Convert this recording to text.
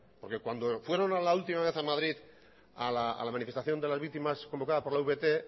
porque cuando fueron la última vez a madrid a la manifestación de las víctimas convocada por la avt